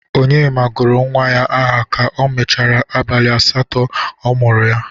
Onyema gụrụ nwa ya aha ka o merechara abalị asatọ a mụrụ ya.